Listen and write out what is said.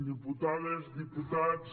diputades diputats